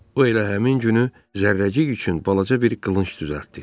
O elə həmin günü Zərrəcik üçün balaca bir qılınc düzəltdi.